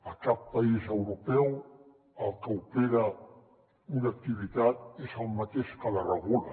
a cap país europeu el que opera una activitat és el mateix que la regula